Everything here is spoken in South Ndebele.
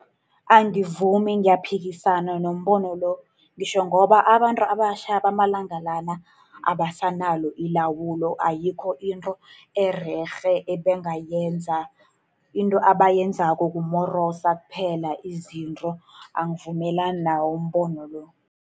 Angivumi, ngiyaphikisana nombono lo. Ngitjho ngoba abantu abatjha bamalanga la, abasanalo ilawulo. Ayikho into ererhe ebangayenza. Into abayenzako kumorosa kuphela izinto. Angivumelani nawo umbono lo.